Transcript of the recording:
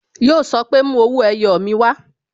Yo sọ pé "Mú owó ẹyọ mi wá"